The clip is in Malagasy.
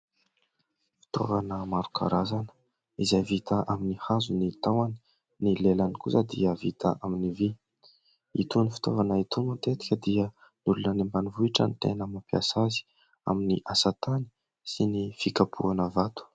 Fitaovana maro karazana izay vita amin'ny hazo ny tahony, ny lelany kosa dia vita amin'ny vy. Itony fitaovana itony matetika dia ny olona any ambanivohitra no tena mampiasa azy amin'ny asa tany sy ny fikapohana vato.